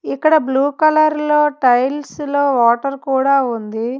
ఇక్కడ blue colour లో tiles లో వాటర్ కూడా ఉంది.